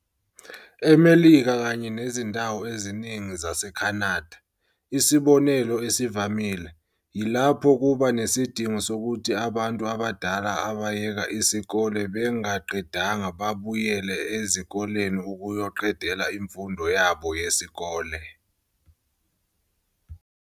EMelika kanye nezindawo eziningi zase-Canada, isibonelo esivamile, yilapho kuba nesidingo sokuthi abantu abadala abayeka isikole bengaqedanga babuyele ezikoleni ukuyoqedelela imfundo yabo yesikole.